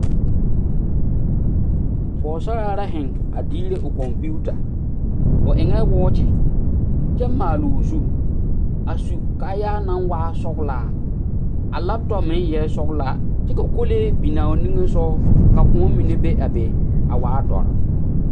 Pɔɔsaraa la zeŋ a diire o kɔmpiuta a eŋɛɛ wɔɔkyi kyɛ maaloo zu a su kaayaa naŋ waa sɔglaa a laptɔp meŋ eɛɛ sɔglaa kyɛ ka kolee binaa o nimisugɔ ka kõɔ mine be a be a wa dɔre.